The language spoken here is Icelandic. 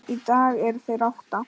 Í dag eru þeir átta.